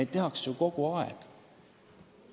Seda tehakse ju kogu aeg.